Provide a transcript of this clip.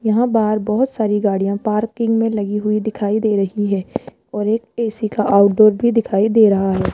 यहां बाहर बहुत सारी गाड़ियां पार्किंग में लगी हुई दिखाई दे रही है और एक ए_सी का आउट डोर भी दिखाई दे रहा है।